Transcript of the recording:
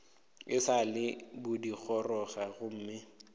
e sa le pudigoroga gomme